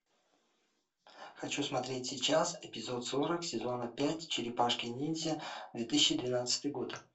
хочу смотреть сейчас эпизод сорок сезона пять черепашки ниндзя две тысячи двенадцатый год